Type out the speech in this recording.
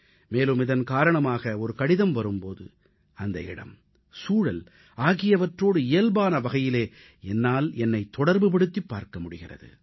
மேலும் இதன் காரணமாக ஒரு கடிதம் வரும் போது அந்த இடம் சூழல் ஆகியவற்றோடு இயல்பான வகையிலே என்னால் என்னைத் தொடர்புபடுத்திப் பார்க்க முடிகிறது